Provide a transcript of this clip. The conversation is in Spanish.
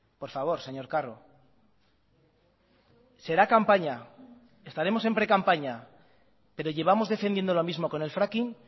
por favor señor carro será campaña estaremos en precampaña pero llevamos defendiendo lo mismo con el fracking